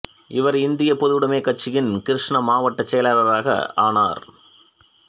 இவர் இந்தியப் பொதுவுடைமைக் கட்சியின் கிருஷ்ணா மாவட்டச் செயலாளராக ஆனார்